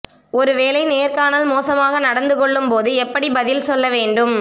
ஒரு வேலை நேர்காணல் மோசமாக நடந்துகொள்ளும்போது எப்படி பதில் சொல்ல வேண்டும்